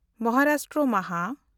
ᱢᱚᱦᱟᱨᱟᱥᱴᱨᱚ ᱢᱟᱦᱟ